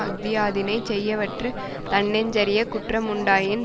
அஃதியாதினைச் செய்யவற்று தன்னெஞ்சறியக் குற்ற முண்டாயின்